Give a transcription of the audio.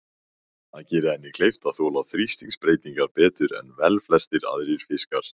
Það gerir henni kleift að þola þrýstingsbreytingar betur en velflestir aðrir fiskar.